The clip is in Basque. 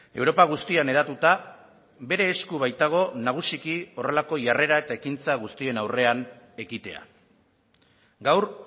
europa guztian hedatuta bere esku baitago nagusiki horrelako jarrera eta ekintza guztien aurrean ekitea gaur